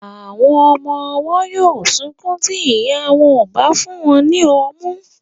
Àwọn ọmọ ọwọ́ yóó sunkún tí ìya wọn ò bá fún wọn ní ọmú.